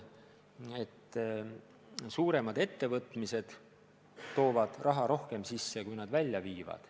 Suuremad ettevõtmised toovad raha rohkem sisse, kui välja viivad.